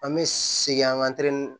An bɛ segin an ka